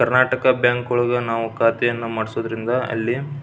Karnataka Bank ಒಳಗೆ ನಾವು ಖಾತೆಯನ್ನು ಮಾಡಿಸುವುದರಿಂದ ಅಲ್ಲಿ--